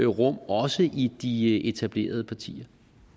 rum også i de etablerede partier